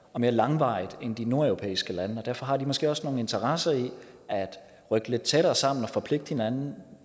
og mere langvarigt end de nordeuropæiske lande og derfor har de måske også mere nogle interesser i at rykke lidt tættere sammen og forpligte hinanden